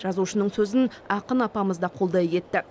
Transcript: жазушының сөзін ақын апамыз да қолдай кетті